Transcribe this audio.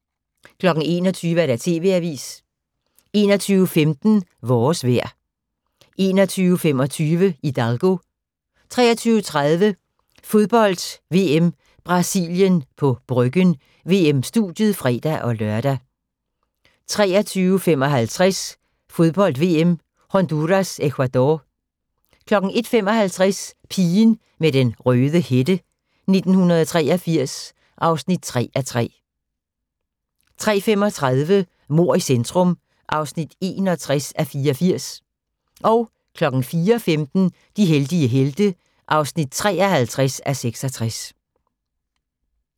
21:00: TV-avisen 21:15: Vores vejr 21:25: Hidalgo 23:30: Fodbold: VM - Brasilien på Bryggen – VM-studiet (fre-lør) 23:55: Fodbold: VM - Honduras-Ecuador 01:55: Pigen med den røde hætte: 1983 (3:3) 03:35: Mord i centrum (61:84) 04:15: De heldige helte (53:66)